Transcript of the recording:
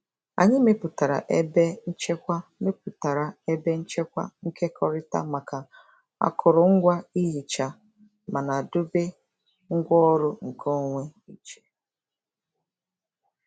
Anyị mepụtara ebe nchekwa mepụtara ebe nchekwa nkekọrịta maka akụrụngwa ihicha mana dobe ngwaọrụ nkeonwe iche.